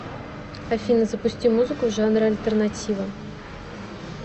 афина запусти музыку в жанре альтернатива